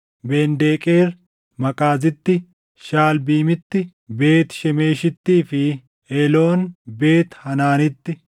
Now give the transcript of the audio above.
Ben-Deqeer Maqaazitti, Shaʼalbiimitti, Beet Shemeshittii fi Eeloon Beet Haanaanitti;